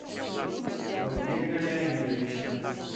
ойбека леонидовича